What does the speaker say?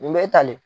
Nin bɛ tale